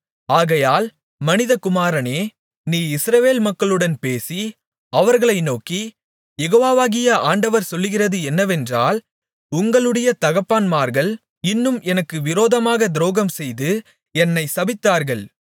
ஆகையால் மனிதகுமாரனே நீ இஸ்ரவேல் மக்களுடன் பேசி அவர்களை நோக்கி யெகோவாகிய ஆண்டவர் சொல்லுகிறது என்னவென்றால் உங்களுடைய தகப்பன்மார்கள் இன்னும் எனக்கு விரோதமாகத் துரோகம்செய்து என்னைத் சபித்தார்கள்